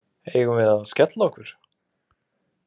Eigum við að skella okkur?